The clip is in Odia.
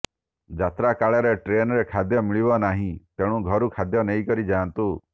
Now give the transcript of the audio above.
ଯାତ୍ରାକାଳରେ ଟ୍ରେନରେ ଖାଦ୍ୟ ମିଳିବ ନାହିଁ ତେଣୁ ଘରୁ ଖାଦ୍ୟ ନେଇକରି ଯାନ୍ତୁ